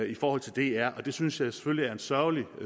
i forhold til dr og det synes jeg selvfølgelig er en sørgelig